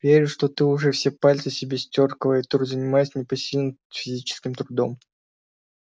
верю что ты уже все пальцы себе стер о клавиатуру занимаясь непосильным физическим трудом